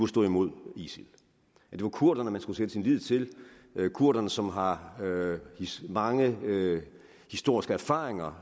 stå imod isil det var kurderne man skulle sætte sin lid til kurderne som har mange historiske erfaringer